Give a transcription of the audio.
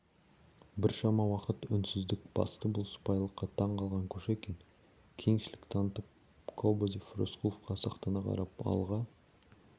біршама уақыт үнсіздік басты бұл сыпайылыққа таң қалған кушекин кеңшілік танытып кобозев рысқұловқа сақтана қарап алға